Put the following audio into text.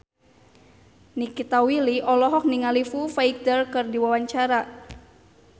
Nikita Willy olohok ningali Foo Fighter keur diwawancara